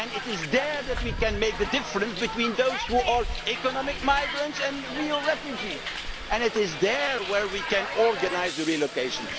It is there that we can differentiate between those who are economic migrants and real refugees, and it is there where we can organise the relocation.